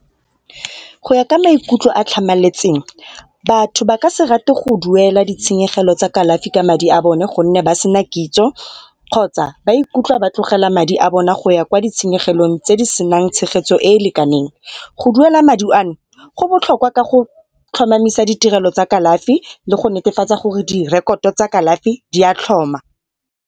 Go ya ka maikutlo a a tlhamaletseng batho ba ka se rate go duela ditshenyegelo tsa kalafi ka madi a bone gonne ba sena kitso kgotsa ba ikutlwa ba tlogela madi a bona go ya kwa ditshenyegelong tse di senang tshegetso e e lekaneng. Go duela madi ano, go botlhoka ka go tlhomamisa ditirelo tsa kalafi le go netefatsa gore direkoto tsa kalafi di a tlhoma.